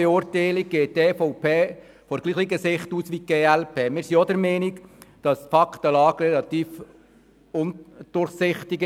Wir sind auch der Meinung, dass die Faktenlage relativ undurchsichtig ist.